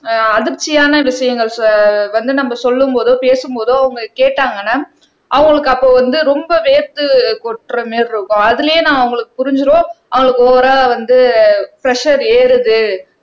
ஆஹ் அதிர்ச்சியான விஷயங்கள் சொ வந்து நம்ம சொல்லும் போதோ பேசும் போதோ அவங்க கேட்டாங்கன்னா அவங்களுக்கு அப்போ வந்து ரொம்ப வேர்த்து கொட்ற மாதிரி இருக்கும் அதிலேயே நான் அவங்களுக்கு புரிஞ்சிடும் அவங்களுக்கு ஓவரா வந்து பிரஷர் ஏறுது